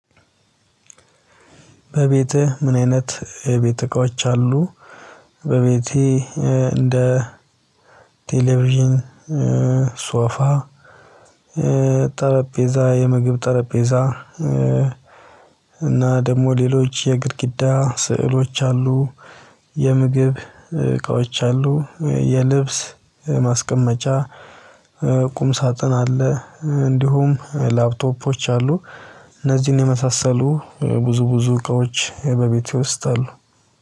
በቤትህ ምን አይነት የቤት እቃዎች አሉ? በቤቴ እንደ ቴሌቪዥን፣ ሶፋ፣ ጠረጴዛ፣ የምግብ ጠረጴዛ፣ እና ደግሞ ሌሎች የግድግዳ ስዕሎች አሉ። የምግብ እቃዎች አሉ፣ የልብስ ማስቀመጫ ቁም ሳጥን አለ፣ እንዲሁም ላፕቶፖች አሉ እነዚህን የመሳሰሉ ብዙ ብዙ እቃዎች በቤቴ ዉስት አሉ።